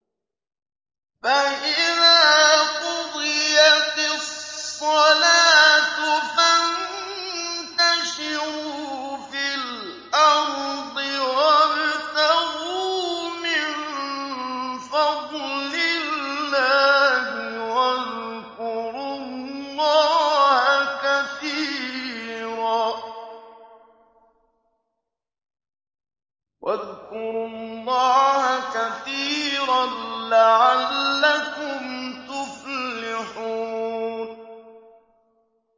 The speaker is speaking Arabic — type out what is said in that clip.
فَإِذَا قُضِيَتِ الصَّلَاةُ فَانتَشِرُوا فِي الْأَرْضِ وَابْتَغُوا مِن فَضْلِ اللَّهِ وَاذْكُرُوا اللَّهَ كَثِيرًا لَّعَلَّكُمْ تُفْلِحُونَ